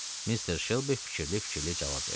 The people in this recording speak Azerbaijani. Mister Shelby fikirli-fikirli cavab verdi.